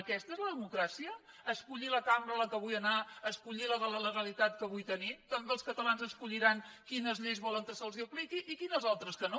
aquesta és la democràcia escollir la cambra a què vull anar escollir la legalitat que vull tenir també els catalans escolliran quines lleis volen que se’ls apliquin i quines altres que no